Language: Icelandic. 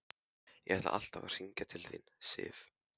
Ég ætlaði alltaf að hringja til þín, Sif.